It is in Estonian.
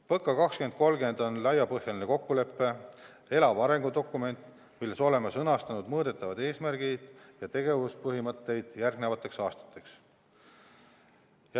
PõKa 2030 on laiapõhjaline kokkulepe, elav arengudokument, milles oleme sõnastanud mõõdetavad eesmärgid ja tegevuspõhimõtted järgmisteks aastateks.